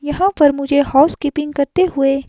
यहां पर मुझे हाउसकीपिंग करते हुए--